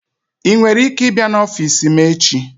I nwere ike ịbịa n'ọfịs m echi?